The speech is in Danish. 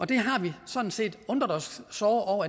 det har vi sådan set undret os såre